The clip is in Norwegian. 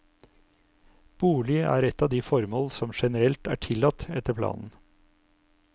Bolig er et av de formål som generelt er tillatt etter planen.